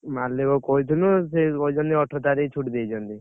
ମାଲିକକୁ କହିଥିଲୁ ସେ କହିଛନ୍ତି ଅଠର ତାରିଖ୍ ଛୁଟି ଦେଇଛନ୍ତି।